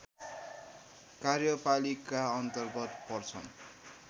कार्यपालिका अन्तर्गत पर्छन्